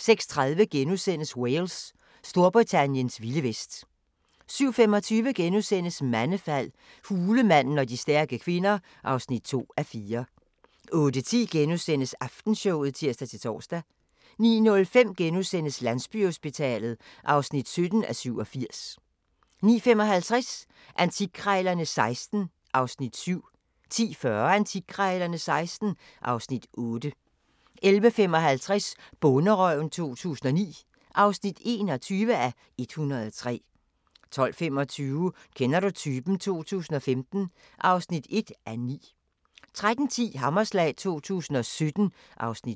06:30: Wales – Storbritanniens vilde vest * 07:25: Mandefald – hulemanden og stærke kvinder (2:4)* 08:10: Aftenshowet *(tir-tor) 09:05: Landsbyhospitalet (17:87)* 09:55: Antikkrejlerne XVI (Afs. 7) 10:40: Antikkrejlerne XVI (Afs. 8) 11:55: Bonderøven 2009 (21:103) 12:25: Kender du typen? 2015 (1:9) 13:10: Hammerslag 2017 (Afs. 7)